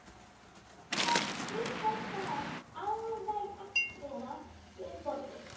Sú stutta sat alveg agndofa við borðið.